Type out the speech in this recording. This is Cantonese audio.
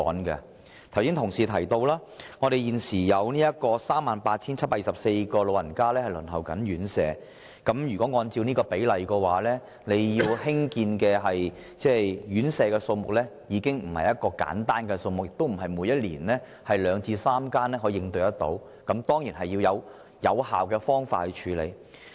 剛才已有議員提及，現時有 38,724 名長者正在輪候院舍宿位，按此比例計算，需要興建的院舍數目已經非常的不簡單，並非每年興建三數間院舍便可應付得到，必須採用有效的方法應對。